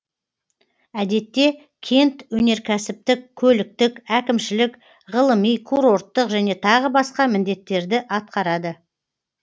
әдетте кент өнеркәсіптік көліктік әкімшілік ғылыми курорттық және тағы басқа міндеттерді атқарады